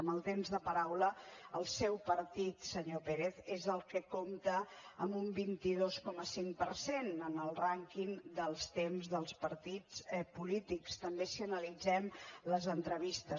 amb el temps de paraula el seu partit senyor pérez és el que compta amb un vint dos coma cinc per cent en el rànquing dels temps dels partits polítics també si analitzem les entrevistes